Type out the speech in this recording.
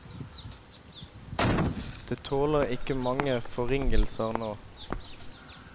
Det tåler ikke mange forringelser nå.